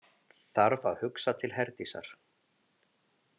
Þarf að hugsa til Herdísar.